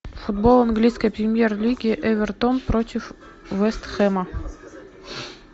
футбол английской премьер лиги эвертон против вестхэма